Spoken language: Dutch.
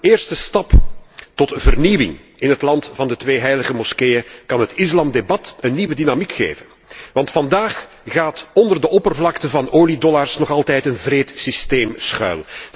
Een eerste stap tot vernieuwing in het 'land van de twee heilige moskeeën' kan het islamdebat een nieuwe dynamiek geven. Want vandaag gaat onder de oppervlakte van oliedollars nog altijd een wreed systeem schuil.